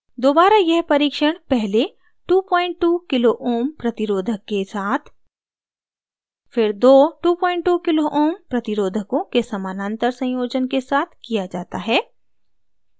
दोबारा यह परीक्षण पहले 22k ω kilo ohms प्रतिरोधक के साथ फिर दो 22 kω kilo ohms प्रतिरोधकों के समानांतर संयोजन के साथ किया जाता है